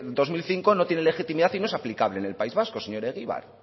dos mil cinco no tiene legitimidad y no es aplicable en el país vasco señor egibar